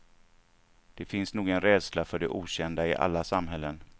Det finns nog en rädsla för det okända i alla samhällen.